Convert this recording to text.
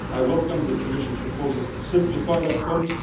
I welcome the Commission proposals to simplify that fund.